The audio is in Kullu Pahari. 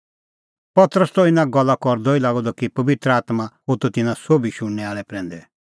पतरस त इना गल्ला करदअ ई लागअ द कि पबित्र आत्मां होथअ तिन्नां सोभी शुणनै आल़ै प्रैंदै